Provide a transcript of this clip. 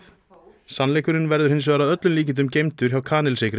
sannleikurinn verður hins vegar að öllum líkindum geymdur hjá kanilsykri